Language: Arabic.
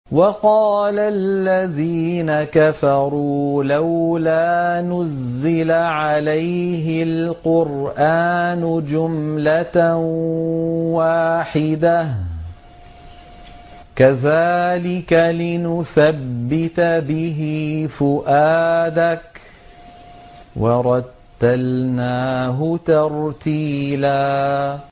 وَقَالَ الَّذِينَ كَفَرُوا لَوْلَا نُزِّلَ عَلَيْهِ الْقُرْآنُ جُمْلَةً وَاحِدَةً ۚ كَذَٰلِكَ لِنُثَبِّتَ بِهِ فُؤَادَكَ ۖ وَرَتَّلْنَاهُ تَرْتِيلًا